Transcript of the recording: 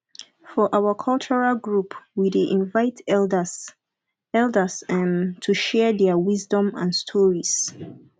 for our cultural group we dey invite elders elders um to share their wisdom and stories